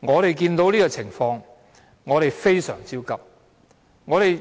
我們看到這個情況，非常焦急，我們